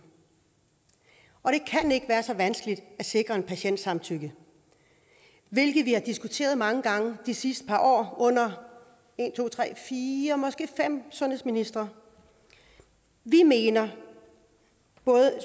og det kan ikke være så vanskeligt at sikre en patients samtykke hvilket vi har diskuteret mange gange de sidste par år under en to tre fire måske fem sundhedsministre vi mener